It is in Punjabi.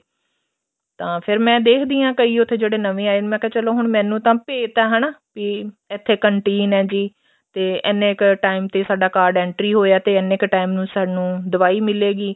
ਤਾਂ ਫ਼ਿਰ ਮੇ ਦੇਖਦੀ ਹਾਂ ਕਈ ਉੱਥੇ ਜਿਹੜੇ ਨਵੇਂ ਆਏ ਮੈਂ ਕਿਹਾ ਚਲੋ ਮੈਨੂੰ ਤਾਂ ਭੇਦ ਏ ਕੇ ਇੱਥੇ canteen ਏ ਜੀ ਤੇ ਇੰਨੇ ਕ time ਤੇ ਸਾਡਾ card entry ਹੋਇਆ ਏ ਤੇ ਇੰਨੇ ਕ time ਸਾਨੂੰ ਦਵਾਈ ਮਿਲੇਗੀ